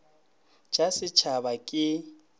t sa setshaba ke t